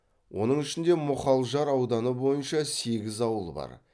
оның ішінде мұхалжар ауданы бойынша сегіз ауыл бар